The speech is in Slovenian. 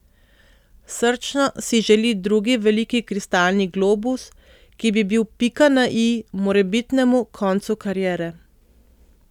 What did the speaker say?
Srčno si želi drugi veliki kristalni globus, ki bi bil pika na i morebitnemu koncu kariere.